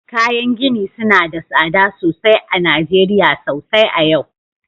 Kayan gini suna da tsada sosai a Najeriya sosai a yau